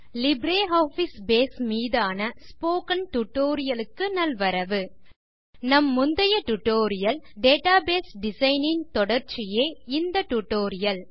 LibreOffice Base மீதான spoken tutorial க்கு நல்வரவு நம் முந்தைய டியூட்டோரியல் டேட்டாபேஸ் டிசைன் ன் தொடர்ச்சியே இந்த டியூட்டோரியல்